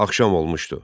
Axşam olmuşdu.